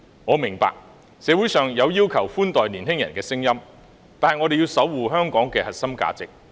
我明白社會上有要求寬待年青人的聲音，但我們要守護香港的核心價值。